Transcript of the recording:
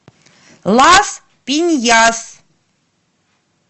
лас пиньяс